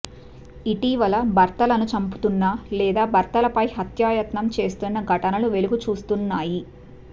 ఇటీవల భర్తలను చంపుతున్న లేదా భర్తలపై హత్యాయత్నం చేస్తున్న ఘటనలు వెలుగు చూస్తున్నాయి